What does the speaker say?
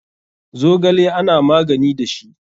Zogale ana magani da shi.